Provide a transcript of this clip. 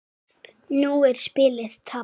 Nú er spilið tapað.